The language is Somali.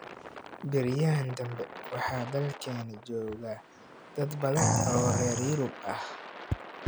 Beryahan danbe waxa dalkeena jooga dad badan oo reer yurub ah